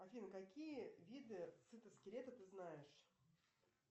афина какие виды цитоскелета ты знаешь